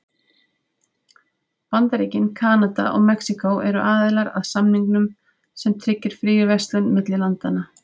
Bandaríkin, Kanada og Mexíkó eru aðilar að samningnum sem tryggir fríverslun milli landanna.